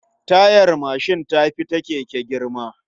Tayar mashin ta fi ta keke girma.